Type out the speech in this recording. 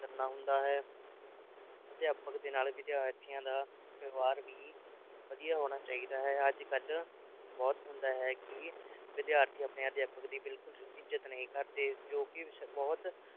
ਕਰਨਾ ਹੁੰਦਾ ਹੈ ਅਧਿਆਪਕ ਦੇ ਨਾਲ ਵਿਦਿਆਰਥੀਆਂ ਦਾ ਵਿਵਹਾਰ ਵੀ ਵਧੀਆ ਹੋਣਾ ਚਾਹੀਦਾ ਹੈ ਅੱਜ ਕੱਲ੍ਹ ਬਹੁਤ ਹੁੰਦਾ ਹੈ ਕਿ ਵਿਦਿਆਰਥੀ ਆਪਣੇ ਅਧਿਆਪਕ ਦੀ ਬਿਲਕੁਲ ਇਜ਼ਤ ਨਹੀਂ ਕਰਦੇ ਜੋ ਕਿ ਬਹੁਤ